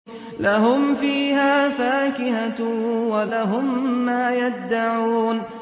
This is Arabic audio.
لَهُمْ فِيهَا فَاكِهَةٌ وَلَهُم مَّا يَدَّعُونَ